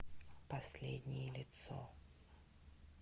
последнее лицо